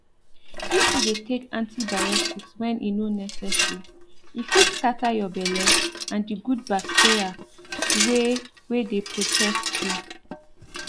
if you dey take antibiotics when e no necessary e fit scatter your belle and the good bacteria wey wey dey protect you